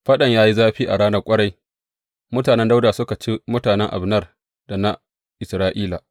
Faɗan ya yi zafi a ranar ƙwarai, mutanen Dawuda suka ci mutanen Abner da na Isra’ila.